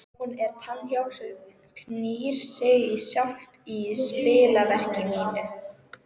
Hún er tannhjól sem knýr sig sjálft í spilverki mínu.